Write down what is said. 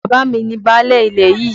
Bàbá mi ni báálẹ̀ ilẹ̀ yìí.